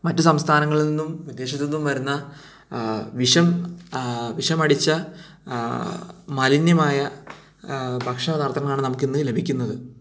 മറ്റു സംസ്ഥാനങ്ങളിൽ നിന്നും വിദേശത്ത് നിന്നും വരുന്ന ആഹാ വിഷം ആഹാ വിഷം അടിച്ച മാലിന്യമായ ആഹാ ഭക്ഷണപ്രദങ്ങളാണ് നമുക്ക് ഇന്ന് ലഭിക്കുന്നത്